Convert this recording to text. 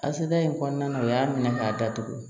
Aseda in kɔnɔna na u y'a minɛ k'a datugu